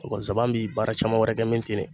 O kɔ zaban bi baara caman wɛrɛ kɛ min ti ne.